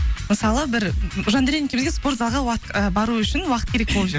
мысалы бір жандәурен екеуімізге спорта залға і бару үшін уақыт керек болып жүр